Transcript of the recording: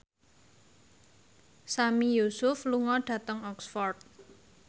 Sami Yusuf lunga dhateng Oxford